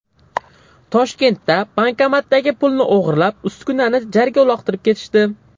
Toshkentda bankomatdagi pulni o‘g‘irlab, uskunani jarga uloqtirib ketishdi.